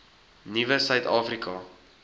nuwe suid afrika